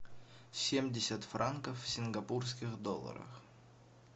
семьдесят франков в сингапурских долларах